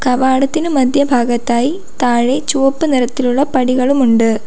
കവാടത്തിന് മധ്യഭാഗത്തായി താഴെ ചുവപ്പു നിറത്തിലുള്ള പടികളുമുണ്ട്.